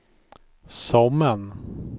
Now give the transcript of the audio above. Sommen